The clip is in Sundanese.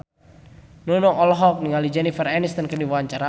Nunung olohok ningali Jennifer Aniston keur diwawancara